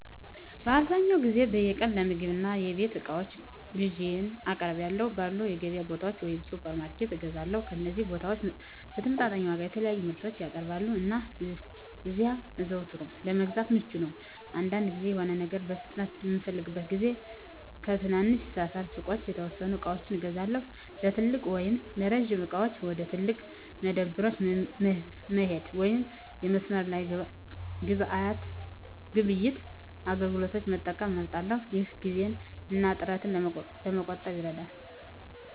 አብዛኛውን ጊዜ በየቀኑ ለምግብ እና የቤት እቃዎች ግዢዬን በአቅራቢያው ባሉ የገበያ ቦታዎች ወይም ሱፐርማርኬቶች እገዛለሁ። እነዚህ ቦታዎች በተመጣጣኝ ዋጋ የተለያዩ ምርቶችን ያቀርባሉ, እና እዚያ አዘውትሮ ለመግዛት ምቹ ነው. አንዳንድ ጊዜ፣ የሆነ ነገር በፍጥነት በምፈልግበት ጊዜ ከትናንሽ ሰፈር ሱቆች የተወሰኑ ዕቃዎችን እገዛለሁ። ለትልቅ ወይም ለጅምላ ዕቃዎች፣ ወደ ትላልቅ መደብሮች መሄድ ወይም የመስመር ላይ ግብይት አገልግሎቶችን መጠቀም እመርጣለሁ፣ ይህም ጊዜን እና ጥረትን ለመቆጠብ ይረዳል።